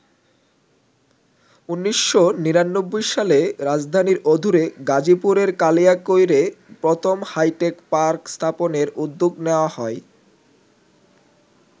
১৯৯৯ সালে রাজধানীর অদূরে গাজীপুরের কালিয়াকৈরে প্রথম হাইটেক পার্ক স্থাপনের উদ্যোগ নেওয়া হয়।